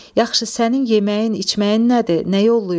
Yaxşı sənin yeməyin içməyin nədir, nə yollayım?